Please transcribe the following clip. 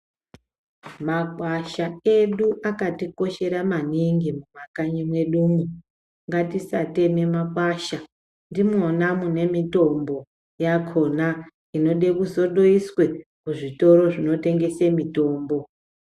Makwasha edu akatikoshera maningi mumakanyi medumo ngatisateme makwasha ndimona mune mutombo yakhona inoda kusoseduiswe kuzvitoro zvinotengese mitombo .